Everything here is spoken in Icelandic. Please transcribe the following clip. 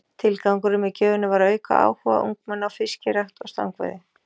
Tilgangurinn með gjöfinni var að auka áhuga ungmenna á fiskirækt og stangveiði.